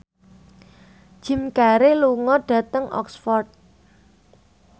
Jim Carey lunga dhateng Oxford